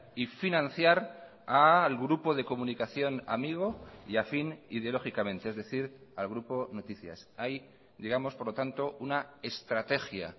y financiar al grupo de comunicación amigo y afín ideológicamente es decir al grupo noticias hay digamos por lo tanto una estrategia